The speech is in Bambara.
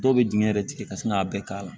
Dɔw bɛ dingɛ yɛrɛ tigɛ ka sin k'a bɛɛ k'a la